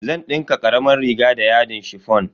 Zan dinka karamar riga da yadin chiffon.